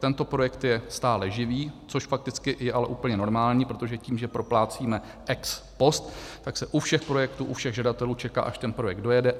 Tento projekt je stále živý, což fakticky ale je úplně normální, protože tím, že proplácíme ex post, tak se u všech projektů, u všech žadatelů čeká, až ten projekt dojede.